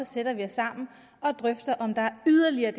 sætter vi os sammen og drøfter om der er yderligere